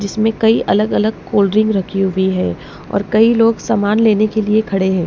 जिसमें कई अलग-अलग कोल्ड ड्रिंक हुई है और कई लोग सामान लेने के लिए खड़े हैं।